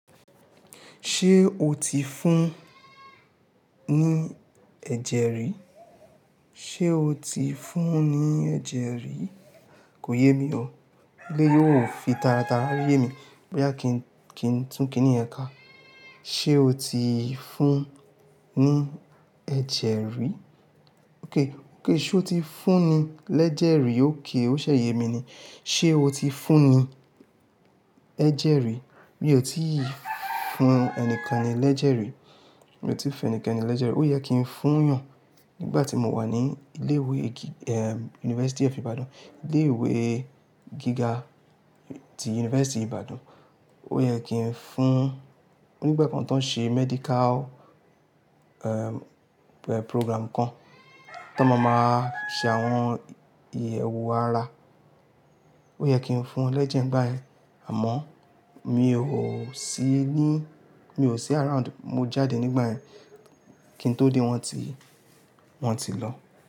Ṣé o ti fún ní ẹ̀jẹ̀ rí? Sé o ti fún ní ẹ̀jẹ̀ rí? Kò yé mi o, éleyi óò fi tara tara ye mi, boya kí n, kí n tún kíni ẹ̀ka. Ṣé o ti fún ní ẹ̀jẹ̀ rí? Óké, óké ṣé o ti fún ní lẹ́jẹ̀ rí? Óké, ó ṣè ye mi ni. Ṣé o ti fún ní ẹ̀jẹ̀ rí? Mi ò tí ì fún ẹnikani lẹ́jẹ̀ rí. Mi ò tí ì fún ẹnikẹ́ni lẹ́jẹ̀ rí. Ó yẹ kí n fún eyan nígbà tí mò wà ní ilé ìwé gíga, èé, University of Ibadan. Ilé ìwé gíga ti University Ibadan. Ó yẹ kí n fún, ó nígbà kan tó ń ṣe medical, ẹ́m, program kan, tó máa máa ṣe àwọn ìyẹ̀wo ara. Ó yẹ kí n fún lẹ́jẹ̀ nígbà ẹ́, àmọ́ mi ò sí ní, mi ò sí around. Mo jáde nígbà yen, kí n tó dé wọ́n tí, wọn tí lọ.